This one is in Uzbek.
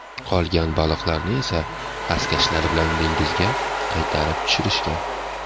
Qolgan baliqlarni esa xaskashlar bilan dengizga qaytarib tushirishgan.